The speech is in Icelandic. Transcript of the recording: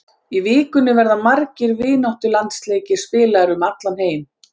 Í vikunni verða margir vináttulandsleikir spilaðir um allan heim.